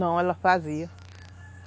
Não, ela fazia.